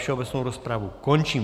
Všeobecnou rozpravu končím.